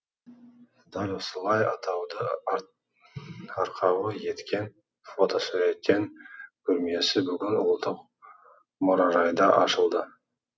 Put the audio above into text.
дәл осылай атауды арқауы еткен фотосуреттен көрмесі бүгін ұлттық мұражайда ашылды